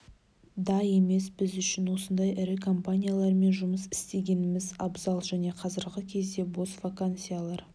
да емес біз үшін осындай ірі компаниялармен жұмыс істегеніміз абзал және қазіргі кезде бос вакансиялар